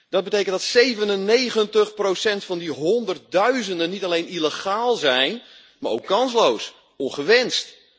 Dat betekent dat 97 van die honderdduizenden niet alleen illegaal zijn, maar ook kansloos, ongewenst.